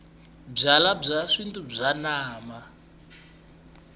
byalwabya xintu bya namba